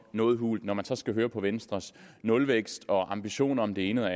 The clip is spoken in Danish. noget hult når man så skal høre på venstres nulvækst og ambitioner om det ene eller